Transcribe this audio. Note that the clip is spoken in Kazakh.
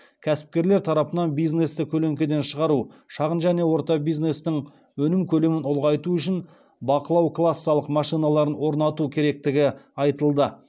кәсіпкерлер тарапынан бизнесті көлеңкеден шығару шағын және орта бизнестің өнім көлемін ұлғайту үшін бақылау кассалық машиналарын орнату керектігі айтылды